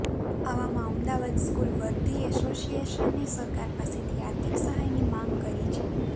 આવામાં અમદાવાદ સ્કૂલ વર્ધી એસોસિએશને સરકાર પાસેથી આર્થિક સહાયની માગ કરી છે